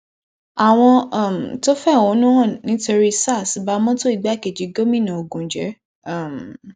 àwọn um tó ń fẹhónú hàn nítorí sars ba mọtò igbákejì gómìnà ogun jẹ um